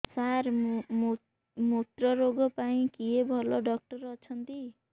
ସାର ମୁତ୍ରରୋଗ ପାଇଁ କିଏ ଭଲ ଡକ୍ଟର ଅଛନ୍ତି